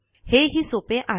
हे हि सोपे आहे